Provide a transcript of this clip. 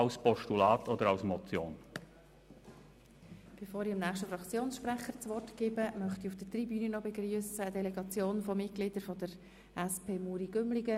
Bevor ich dem nächsten Fraktionssprecher das Wort erteile, begrüsse ich auf der Tribüne eine Delegation der Mitglieder der SP Muri-Gümligen.